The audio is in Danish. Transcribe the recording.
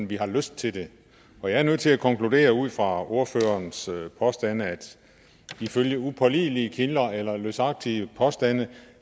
vi har lyst til det jeg er nødt til at konkludere ud fra ordførerens påstande at ifølge upålidelige kilder eller løsagtige påstande